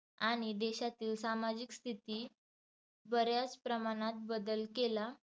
आणि देशातील सामाजिक स्थिति बऱ्याच प्रमाणात बदल केला.